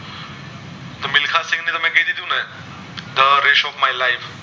Rash of my life